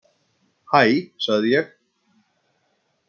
Hæ sagði ég.